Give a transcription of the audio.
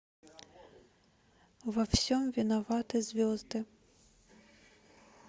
во всем виноваты звезды